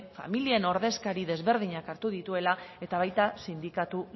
familien ordezkari ezberdinak hartu dituela eta baita sindikatu